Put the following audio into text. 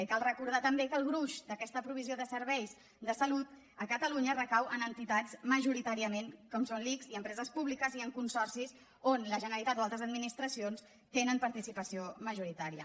i cal recordar també que el gruix d’aquesta provisió de serveis de salut a catalunya recau en entitats majoritàriament com són l’ics i empreses públiques i en consorcis on la generalitat o altres administracions tenen participació majoritària